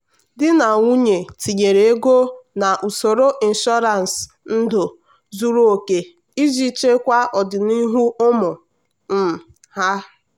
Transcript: di na nwunye tinyere ego n'usoro ịnshọransị ndụ zuru oke iji chekwa ọdịnihu ụmụ um ha.